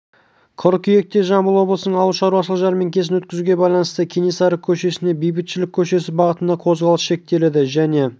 қыркүйекте жамбыл облысының ауыл шаруашылық жәрмеңкесін өткізуге байланысты кенесары көшесінде бейбітшілік көшесі бағытында қозғалыс шектеледі және